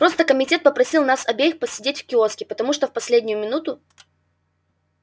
просто комитет попросил нас обеих посидеть в киоске потому что в последнюю минуту